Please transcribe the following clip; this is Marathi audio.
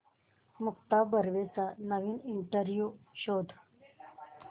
मुक्ता बर्वेचा नवीन इंटरव्ह्यु शोध